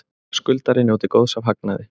Skuldari njóti góðs af hagnaði